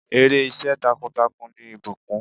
Èrè iṣẹ́ takuntakun ni ìbùkùn.